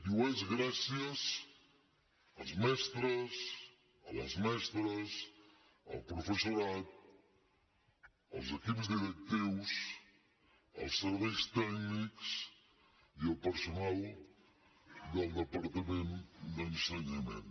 i ho és gràcies als mestres a les mestres al professorat als equips directius als serveis tècnics i al personal del departament d’ensenyament